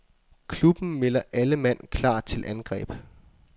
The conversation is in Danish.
Klubben melder alle mand klar til angreb.